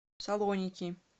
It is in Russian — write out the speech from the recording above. салоники